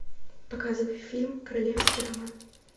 показывай фильм королевский роман